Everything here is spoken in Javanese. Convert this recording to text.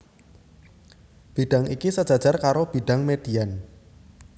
Bidhang iki sejajar karo bidhang median